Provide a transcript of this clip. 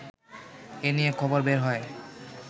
এ নিয়ে খবর বের হয়